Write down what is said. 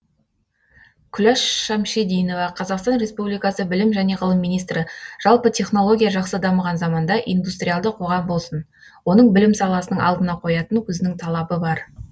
күләш шамшидинова қазақстан республикасы білім және ғылым министрі жалпы технология жақсы дамыған заманда индустриалды қоғам болсын оның білім саласының алдына қоятын өзінің талабы бар